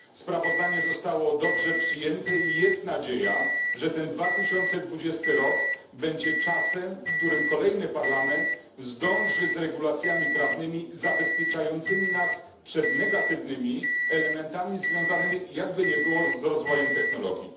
Sprawozdanie zostało dobrze przyjęte i jest nadzieja, że ten 2020 rok będzie czasem, w którym kolejny parlament zdąży z regulacjami prawnymi zabezpieczającymi nas przed negatywnymi elementami związanymi, jakby nie było, z rozwojem technologii.